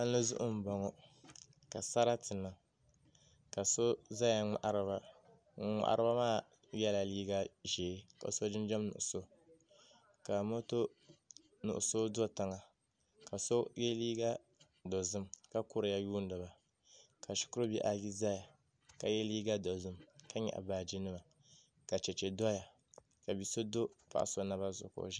Palli zuɣu n boŋo ka sarati niŋ ka so ʒɛya n ŋmahariba ŋun ŋmahariba maa yɛla liiga ʒiɛ ka so jinjɛm nuɣso ka moto nuɣso do tiŋa ka so yɛ liiga dozim ka kuriya yuundiba ka shikuru bihi ayi ʒɛya ka yɛ liiga dozim ka nyaɣa baaji nima ka chɛchɛ doya ka bia so do paɣa so naba zuɣu ka o ʒiya